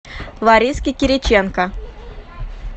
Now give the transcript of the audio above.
лариски кириченко